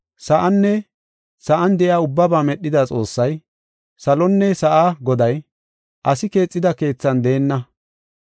Sa7anne sa7an de7iya ubbaba medhida Xoossay, salonne sa7a Goday, asi keexida keethan deenna.